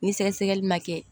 Ni sɛgɛsɛgɛli ma kɛ